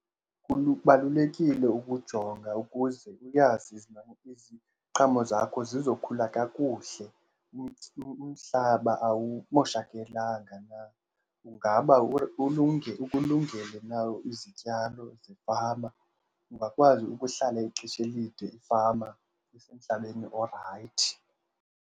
ukujonga ukuze uyazi iziqhamo zakho zizokhula kakuhle, umhlaba awumoshakelanga na, ungaba ukulungele na izityalo zefama, ungakwazi ukuhlala ixesha elide ifama isemhlabeni orayithi.